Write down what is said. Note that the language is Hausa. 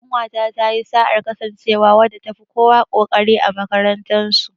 Ƙanwata ta yi sa'ar kasancewa wadda ta fi kowa ƙoƙari a makarantar su.